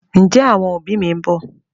Ǹjẹ́ àwọn òbí mi ń bọ̀?